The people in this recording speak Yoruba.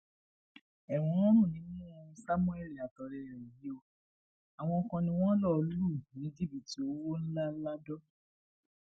ẹwọn ń rùn nímú samuel àtọrẹ ẹ yìí o àwọn kan ni wọn lọọ lù ní jìbìtì owó ńlá ladọ